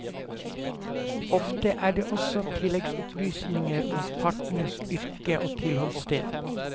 Ofte er det også tilleggsopplysninger om partenes yrke og tilholdssted.